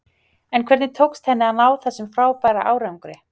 En hvernig tókst henni að ná þessum frábæra árangri?